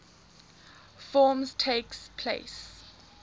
forms takes place